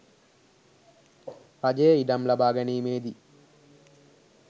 රජයේ ඉඩම් ලබා ගැනීමේ දී